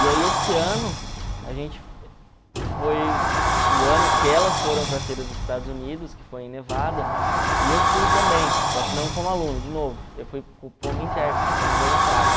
E aí esse ano, a gente foi o ano que elas foram para a Feira dos Estados Unidos, que foi em Nevada, e eu fui também, só que não como aluno, de novo, eu fui como intérprete, como voluntário.